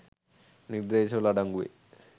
නිර්දේශවල අඩංගු වේ